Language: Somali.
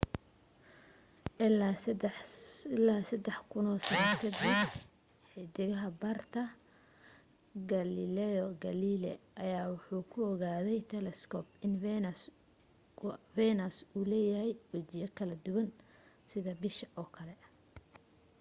ilaa sadax kuno sano kadib 1610 xidag barte galileo galilei ayaa waxa uu ku ogaaday telescope in venus uu leeyahay wajiyo kala duwan sida bisha oo kale